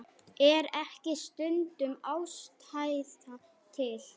Er ekki stundum ástæða til?